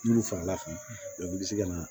N'olu farala kan i bi se ka na